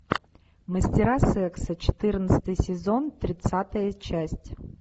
мастера секса четырнадцатый сезон тридцатая часть